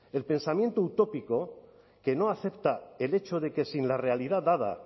el pensamiento utópico que no acepta el hecho de que sin la realidad dada